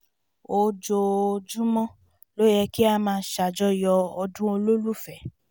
ojoojúmọ́ ló yẹ kí a máa ṣàjọyọ̀ ọdún olólùfẹ́